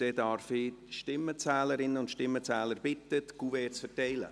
Dann darf ich die Stimmenzählerinnen und Stimmenzähler bitten, die Kuverts zu verteilen.